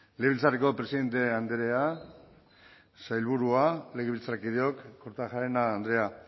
legebiltzarreko presidente andrea sailburua legebiltzarkideok kortajarena andrea